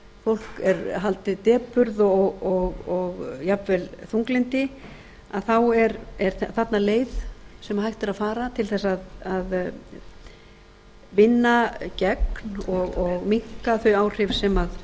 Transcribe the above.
fólk er haldið depurð og jafnvel þunglyndi að þá er þarna leið sem hægt er að fara til að vinna gegn og minnka þau áhrif sem